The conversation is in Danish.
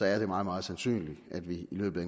er det meget meget sandsynligt at vi i løbet